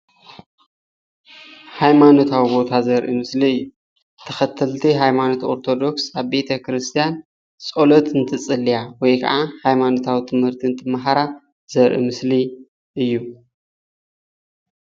ሃይማኖታዊ ውነ ዘርኢ ምስሊ እዩ፡፡ ተከተልቲ ሃይማኖት ኦርተደጉስ ኣብ ቤተክርስትያን ፆሎት እንትፅልያ ወይ ከኣ ሃይማኖታዊ ትምህርቲ እንትማሃራ ዘርኢ ምስሊ እዩ፡፡